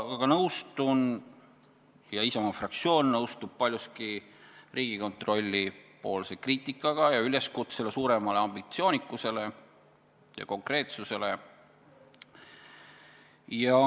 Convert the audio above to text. Aga nõustun ja Isamaa fraktsioon nõustub paljuski Riigikontrolli kriitikaga ja üleskutsega suuremale ambitsioonikusele ja konkreetsusele.